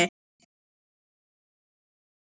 Mér er alveg sama, viltu sjá?